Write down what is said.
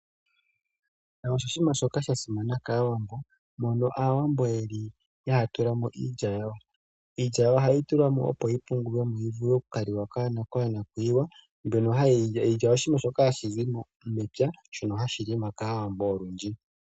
Eshisha oshinima shoka sha simana kAawambo, mono Aawambo haya tula mo iilya yawo. Iilya yawo ohayi tulwa mo, opo yi oungulwe mo yi vule oku ka liwa konakuyiwa. Iilya oshinima shoka hashi zi mepya shono hashi longwa kAawambo olundji.